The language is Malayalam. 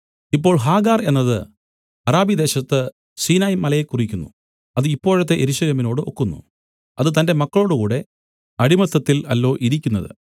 ഇപ്പോൾ ഹാഗർ എന്നത് അരാബിദേശത്ത് സീനായ് മലയെക്കുറിക്കുന്നു അത് ഇപ്പോഴത്തെ യെരൂശലേമിനോട് ഒക്കുന്നു അത് തന്റെ മക്കളോടുകൂടെ അടിമത്തത്തിൽ അല്ലോ ഇരിക്കുന്നത്